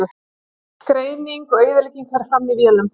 Greining og eyðing fer fram í vélum.